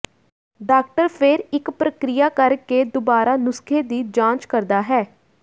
doctor ਫਿਰ ਇੱਕ ਪ੍ਰਕਿਰਿਆ ਕਰ ਕੇ ਦੁਬਾਰਾ ਨੁਸਖ਼ੇ ਦੀ ਜਾਂਚ ਕਰਦਾ ਹੈ